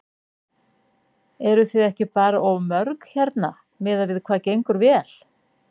Eruð þið ekki bara of mörg hérna miðað við hvað gengur vel?